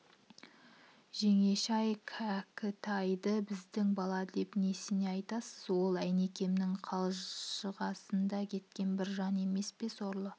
жеңеше-ай кәкітайды біздің бала деп несіне айтасыз ол әйнекемнің қанжығасында кеткен бір жан емес пе сорлы